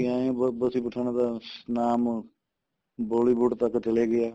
ਬਸੀ ਪਠਾਣਾ ਦਾ ਨਾਮ Bollywood ਤੱਕ ਚਲੇ ਗਿਆ